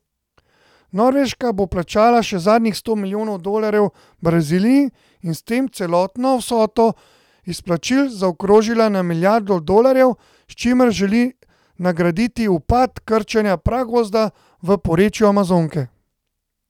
Norveška bo plačala še zadnjih sto milijonov dolarjev Braziliji in s tem celotno vsoto izplačil zaokrožila na milijardo dolarjev, s čimer želi nagraditi upad krčenja pragozda v porečju Amazonke.